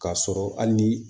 K'a sɔrɔ hali ni